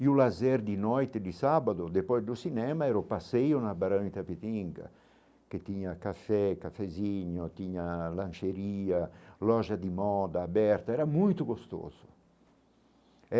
E o lazer de noite de sábado, depois do cinema, era o passeio na Barão Itapetinga, que tinha café, cafezinho, tinha lancheria, loja de moda aberta, era muito gostoso